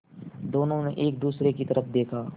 दोनों ने एक दूसरे की तरफ़ देखा